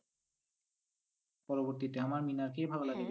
পরবর্তীতে আমার মিনারকেই